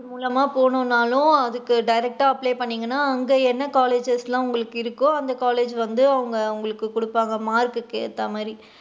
மூலமா போணும்னாலும், அதுக்கு direct டா apply பன்னுனிங்கனா அங்க என்ன colleges லா உங்களுக்கு இருக்கு அந்த college வந்து அவுங்க உங்களுக்கு குடுப்பாங்க உங்க mark குக்கு ஏத்த மாதிரி.